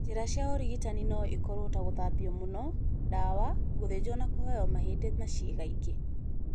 Njĩra cia ũrigitani no ikorũo ta gũthambio mũno, ndawa, gũthĩnjwo na kũheo mahĩndĩ na ciĩga ĩngĩ.